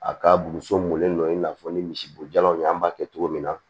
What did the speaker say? A ka buruso mɔlen dɔ ye i n'a fɔ ni misibo jalanw an b'a kɛ cogo min na